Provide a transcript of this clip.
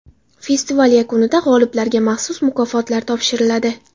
Festival yakunida g‘oliblarga maxsus mukofotlar topshiriladi.